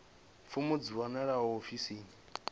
fomo dzi a wanalea ofisini